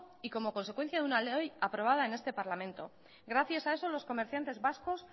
y como consecuencia de una ley aprobada en este parlamento gracias a eso los comerciantes vascos